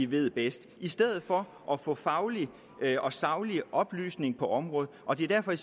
ved bedst i stedet for at få faglig og saglig oplysning på området og det er derfor at